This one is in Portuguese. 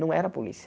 Não era a polícia.